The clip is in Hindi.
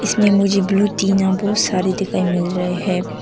इसमें मुझे ब्लू टीना बहुत सारे दिखाई मिल रहे है।